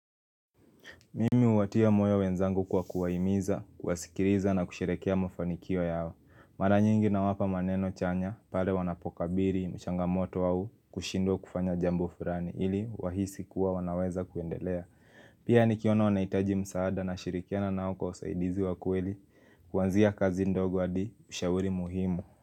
Mimi huwatia moyo wenzangu kwa kuwahimiza, kuwasikiliza na kusherehekea mafanikio yao. Mara nyingi nawapa maneno chanya, pale wanapokabiri, changamoto au, kushidwa kufanya jambo fulani, ili wahisi kuwa wanaweza kuendelea. Pia nikiona wanahitaji msaada nashirikiana nao kwa usaidizi wa kweli, kuanzia kazi ndogo adi ushauri muhimu.